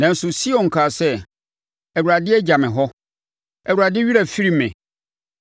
Nanso, Sion kaa sɛ, “ Awurade agya me hɔ, Awurade werɛ afiri me.”